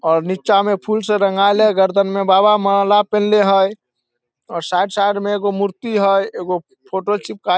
और नीचा मे फूल से रंगाइल हेय गर्दन मे बाबा माला पिनहले हेय और साइड -साइड मे एगो मुर्ति हेय एगो फोटो चिपकाएल।